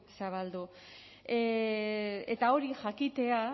zabaldu eta hori jakitea